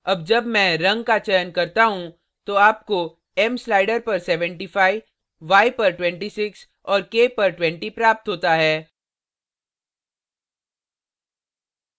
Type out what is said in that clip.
अब जब मैं रंग का चयन करता हूँ तो आपको m slider पर 75 y पर 26 और k पर 20 प्राप्त होता है